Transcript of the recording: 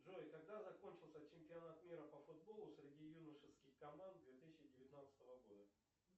джой когда закончился чемпионат мира по футболу среди юношеских команд две тысячи девятнадцатого года